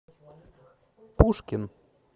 пушкин